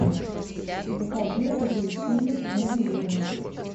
закажи апельсины навелины